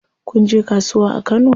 Kun je kasuwa a Kano?